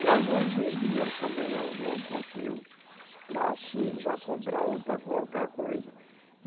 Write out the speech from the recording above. E alguns vendia também, um pouquinho para se já comprar outra, qualquer coisa.